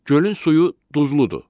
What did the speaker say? Gölün suyu duzludur.